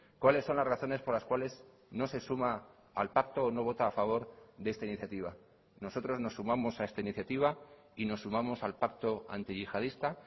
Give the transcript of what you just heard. cuáles son las razones por las cuales no se suma al pacto o no vota a favor de esta iniciativa nosotros nos sumamos a esta iniciativa y nos sumamos al pacto antiyihadista